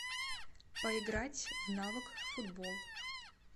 поиграть в навык футбол